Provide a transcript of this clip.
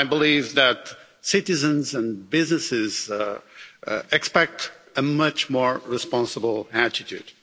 But I believe that citizens and businesses expect a much more responsible attitude.